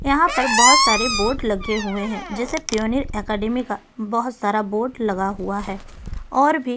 यहाँ पर बहुत सारे बोर्ड लगे हुए है जैसे पीओनिर अकेडमी का बहुत सारा बोर्ड लगा हुआ है और भी--